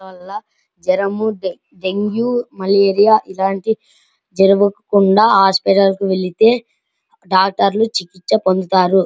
జ్వరం ఉంటె dengue malaria ఇలాంటి జ్వరం ఉంటె హాస్పిటల్ కి వెళ్తే డాక్టర్లు చికిత్సే పొందుతారు --